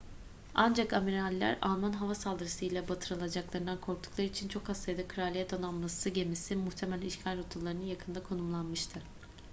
ancak amiraller alman hava saldırısı ile batırılacaklarından korktukları için çok az sayıda kraliyet donanması gemisi muhtemel işgal rotalarının yakınında konumlanmıştı